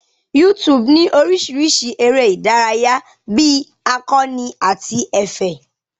YouTube ní oríṣìíríṣìí eré ìdárayá bí akọ́ni àti ẹ̀fẹ̀.